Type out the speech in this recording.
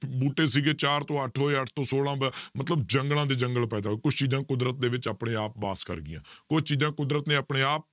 ਬੂਟੇ ਸੀਗੇ ਚਾਰ ਤੋਂ ਅੱਠ ਹੋਏ ਅੱਠ ਤੋਂ ਛੋਲਾਂ ਬ~ ਮਤਲਬ ਜੰਗਲਾਂ ਦੇ ਜੰਗਲ ਪੈਦਾ ਹੋਏ, ਕੁਛ ਚੀਜ਼ਾਂ ਕੁਦਰਤ ਦੇ ਵਿੱਚ ਆਪਣੇ ਆਪ ਵਾਸ ਕਰ ਗਈਆਂ ਕੁਛ ਚੀਜ਼ਾਂ ਕੁਦਰਤ ਨੇ ਆਪਣੇ ਆਪ